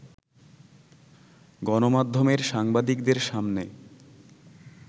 গণমাধ্যমের সাংবাদিকদের সামনে